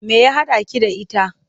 Me ya haɗaki da ita?